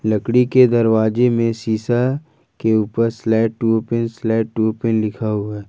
लकड़ी के दरवाजे में शीशा के ऊपर slide to open slide to open लिखा हुआ है।